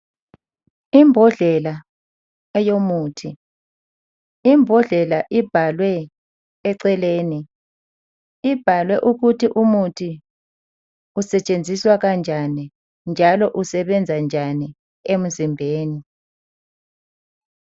Imbodlela eyomuthi. Imbodlela ibhalwe eceleni ukuthi umuthi usetshenziswa kanjani njalo usebenzani njani emzimbeni